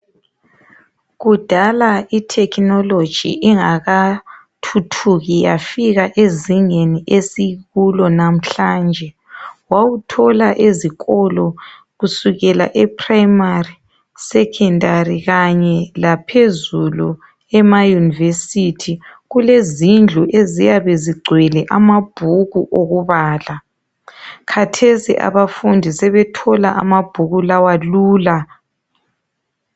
Kudala itechnology ingakathuthuki yafika ezingeni esikulo namhlanje wawuthola ezikolo ePrimary eSecondary kanye laphezulu ema university kuyabe kuzindlu eziyabe zingcwele amabhuku okubala khathec abafundi sebethola amabhuku lawa lula